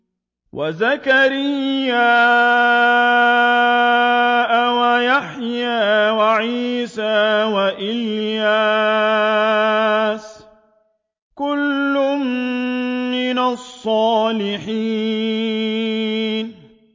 وَزَكَرِيَّا وَيَحْيَىٰ وَعِيسَىٰ وَإِلْيَاسَ ۖ كُلٌّ مِّنَ الصَّالِحِينَ